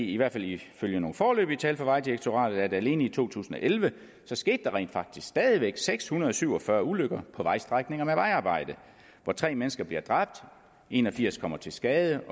i hvert fald ifølge nogle foreløbige tal fra vejdirektoratet at alene i to tusind og elleve skete der rent faktisk stadig væk seks hundrede og syv og fyrre ulykker på vejstrækninger med vejarbejde hvor tre mennesker bliver dræbt en og firs kommer til skade